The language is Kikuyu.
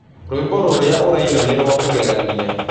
Rwĩmbo rũrĩaũraĩna nĩ rwa kũgeganĩa